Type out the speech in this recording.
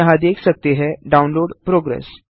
आप यहाँ देख सकते हैं डाउनलोड प्रोग्रेस